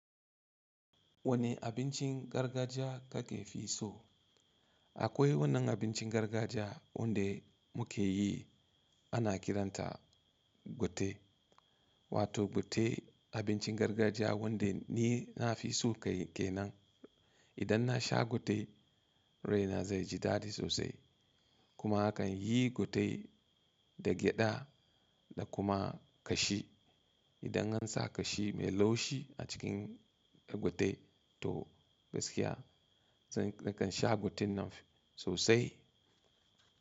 Wanne abincin gargajiya kake fi so? Akwai wannan abincin gargajiya wanda muke yi ana kiranta gute. Wato gute abincin gargajiya wanda ni nafi so kai kenan. Idan na sha gute rai na zai ji dadi sosai. Kuma akan yi gutai da gyada da kuma kashi. Idan an sa kashi mai laushi a cikin gute to gaskiya nakan sha guten nan sosai.